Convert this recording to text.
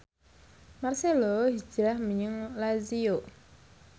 marcelo hijrah menyang Lazio